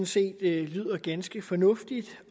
set lyder ganske fornuftigt